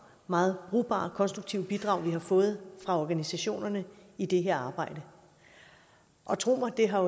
meget brugbare og konstruktive bidrag vi har fået fra organisationerne i det her arbejde tro mig det her